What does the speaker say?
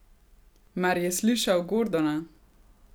Mar je slišal Gordona?